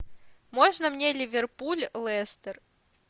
можно мне ливерпуль лестер